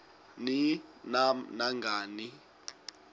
ni nam nangani